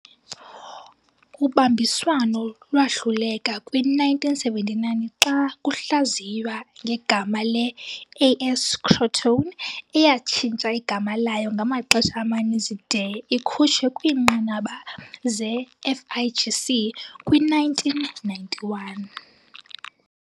Ubambiswano lwahluleka kwi-1979, xa luhlaziywa ngegama le-"AS Crotone", eyatshintsha igama layo ngamaxesha amaninzi de ikhutshwe kwiinqanaba ze-FIGC kwi-1991